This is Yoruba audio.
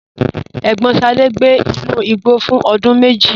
Ẹ̀gbọ́n Sade gbé inú igbó fún ọdún méjì.